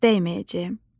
Heç vaxt dəyməyəcəyəm.